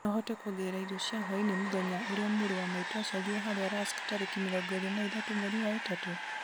no ũhote kuongerera irio cia hwaĩinĩ mũthenya ũrĩa mũrũ wa maitu aciarirwo harĩa rusk tarĩki mĩrongo ĩrĩ na ithatũ mwerĩ wa ĩtatũ